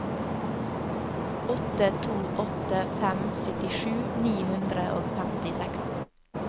åtte to åtte fem syttisju ni hundre og femtiseks